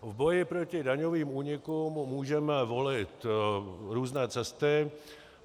V boji proti daňovým únikům můžeme volit různé cesty.